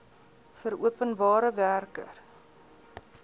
vir openbare werke